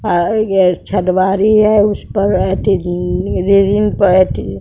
अह ये छह दिवारी है उस पर